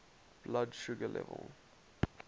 blood sugar level